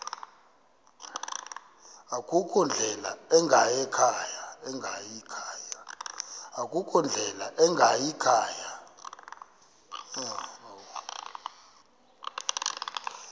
akukho ndlela ingayikhaya